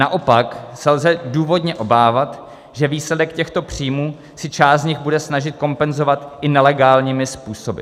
Naopak se lze důvodně obávat, že výsledek těchto příjmů si část z nich bude snažit kompenzovat i nelegálními způsoby.